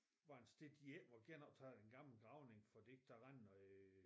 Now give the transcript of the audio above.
Var en sted de ikke måtte genoptage den gamle gravning fordi der var noget